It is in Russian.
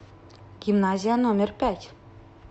гимназия номер пять